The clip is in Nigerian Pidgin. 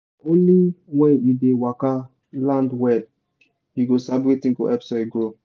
na only when you dey waka land well you go sabi wetin go help soil grow.